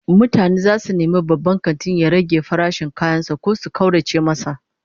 Mutane zasu nemi babban kantin ya rage farashin kayan sa ko su kaurace masa